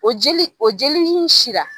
O jeli o jeli in sira.